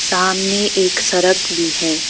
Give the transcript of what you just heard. सामने एक सड़क भी है।